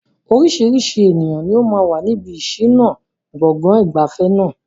Oríṣiríṣi ènìyàn ni ó máa wà níbi ìṣìnà gbọ̀ngàn ìgbafẹ́ náà.